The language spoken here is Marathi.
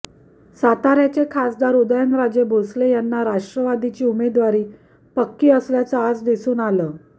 साताऱ्याचे खासदार उदयनराजे भोसले यांना राष्ट्रवादीची उमेदवारी पक्की असल्याचं आज दिसून आलं